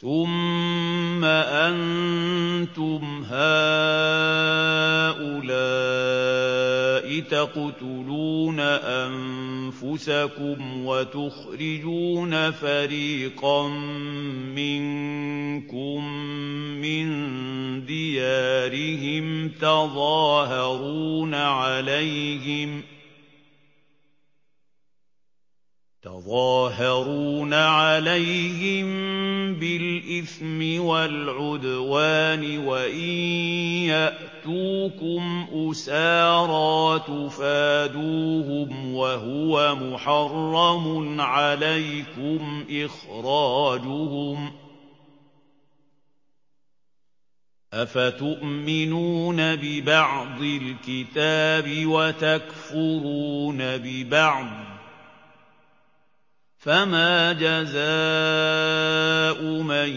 ثُمَّ أَنتُمْ هَٰؤُلَاءِ تَقْتُلُونَ أَنفُسَكُمْ وَتُخْرِجُونَ فَرِيقًا مِّنكُم مِّن دِيَارِهِمْ تَظَاهَرُونَ عَلَيْهِم بِالْإِثْمِ وَالْعُدْوَانِ وَإِن يَأْتُوكُمْ أُسَارَىٰ تُفَادُوهُمْ وَهُوَ مُحَرَّمٌ عَلَيْكُمْ إِخْرَاجُهُمْ ۚ أَفَتُؤْمِنُونَ بِبَعْضِ الْكِتَابِ وَتَكْفُرُونَ بِبَعْضٍ ۚ فَمَا جَزَاءُ مَن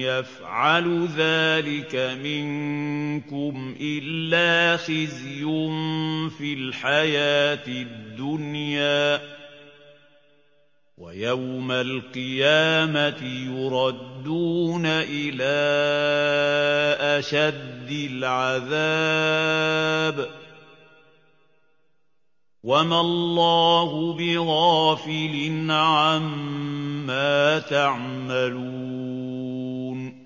يَفْعَلُ ذَٰلِكَ مِنكُمْ إِلَّا خِزْيٌ فِي الْحَيَاةِ الدُّنْيَا ۖ وَيَوْمَ الْقِيَامَةِ يُرَدُّونَ إِلَىٰ أَشَدِّ الْعَذَابِ ۗ وَمَا اللَّهُ بِغَافِلٍ عَمَّا تَعْمَلُونَ